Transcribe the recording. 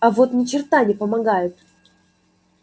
а вот ни черта не помогает